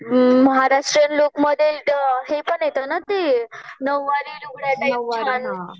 महाराष्ट्रीयन लूकमध्ये हे पण येतं ना ते नऊवारी लुगड्या टाईप छान